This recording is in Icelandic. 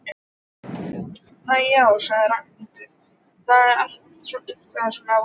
Æ, já sagði Ragnhildur, það er allt eitthvað svo vonlaust